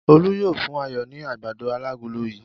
Olú yóò fún Ayọ̀ ní àgbàdo alágolo yìí!